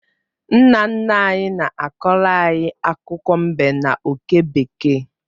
Nna nna anyị na-akọọrọ anyị akụkọ mbe na oke bekee